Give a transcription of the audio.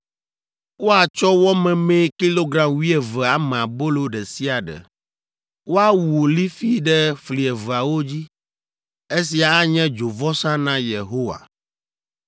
Woatsɔ wɔ memee kilogram wuieve ame abolo ɖe sia ɖe. Woawu lifi ɖe fli eveawo dzi. Esia anye dzovɔsa na Yehowa,